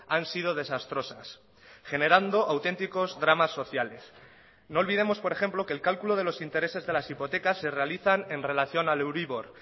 han sido desastrosas generando auténticos dramas sociales no olvidemos por ejemplo que el cálculo de los intereses de las hipotecas se realizan en relación al euribor